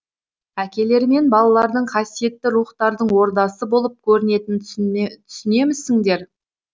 әкелермен балалардың қасиетті рухтардың ордасы болып көрінетінін түсінемісіңдер